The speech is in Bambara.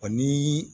Ani